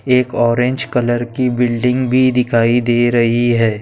एक orange colour की building भी दिखाई दे रही है।